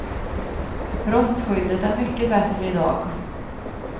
Rostskyddet är mycket bättre i dag.